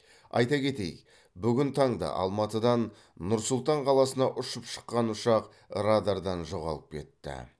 айта кетейік бүгін таңда алматыдан нұр сұлтан қаласына ұшып шыққан ұшақ радардан жоғалып кетті